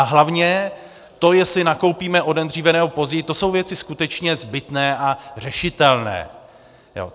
A hlavně to, jestli nakoupíme o den dříve, nebo později, to jsou věci skutečně zbytné a řešitelné.